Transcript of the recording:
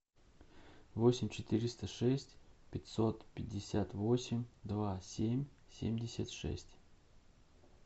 восемь четыреста шесть пятьсот пятьдесят восемь два семь семьдесят шесть